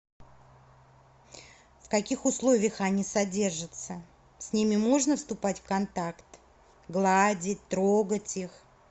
в каких условиях они содержаться с ними можно вступать в контакт гладить трогать их